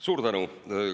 Suur tänu!